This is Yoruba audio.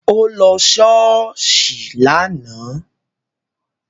Ó lọ ṣọ́ọ̀ṣì lánàá